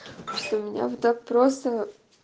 что меня вот так просто